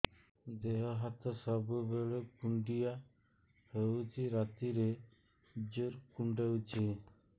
ଦେହ ହାତ ସବୁବେଳେ କୁଣ୍ଡିଆ ହଉଚି ରାତିରେ ଜୁର୍ କୁଣ୍ଡଉଚି